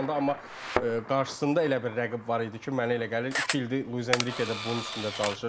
amma qarşısında elə bir rəqib var idi ki, mənə elə gəlir iki ildir Luis Enriquede bunun üstündə çalışırdı.